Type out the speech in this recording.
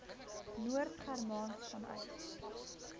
noord germaans vanuit